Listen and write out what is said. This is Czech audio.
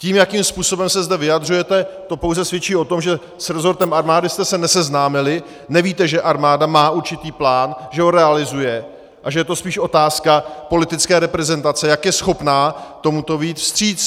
To, jakým způsobem se zde vyjadřujete, to pouze svědčí o tom, že s rezortem armády jste se neseznámili, nevíte, že armáda má určitý plán, že ho realizuje a že je to spíš otázka politické reprezentace, jak je schopná tomuto vyjít vstříc.